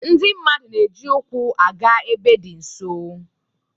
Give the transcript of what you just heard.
Ndị mmadụ na-eji ụkwụ aga ebe dị nso